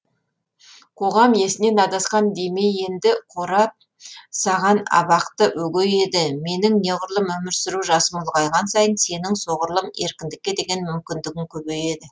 қоғам есінен адасқан демей енді қорап саған абақты өгей еді менің неғұрлым өмір сүру жасым ұлғайған сайын сенің соғұрлым еркіндікке деген мүмкіндігің көбейеді